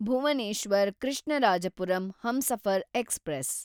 Bhuvneshwar Krishnarajapuram Humsafar express